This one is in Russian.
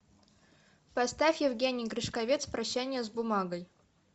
поставь евгений гришковец прощание с бумагой